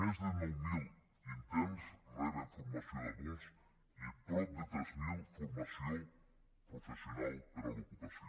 més de nou mil interns reben formació d’adults i prop de tres mil formació professional per a l’ocupació